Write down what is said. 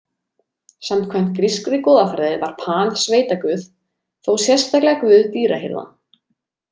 Samkvæmt grískri goðafræði var Pan sveitaguð, þó sérstaklega guð dýrahirða.